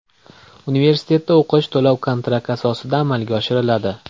Universitetda o‘qish to‘lov-kontrakt asosida amalga oshiriladi.